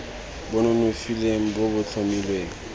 bo nonofileng bo bo tlhomilweng